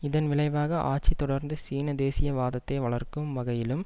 இதன் விளைவாக ஆட்சி தொடர்ந்து சீன தேசிய வாதத்தை வளர்க்கும் வகையிலும்